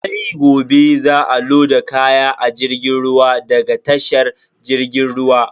Sai gobe za a loda kaya a jirgin ruwa daga tashar jirgin ruwa.